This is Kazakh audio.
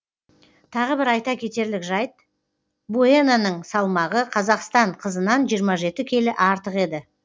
тағы бір айта кетерлік жайт буеноның салмағы қазақстан қызынан жиырма жеті келі артық еді